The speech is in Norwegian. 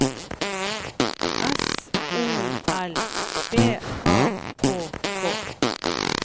S O L B A K K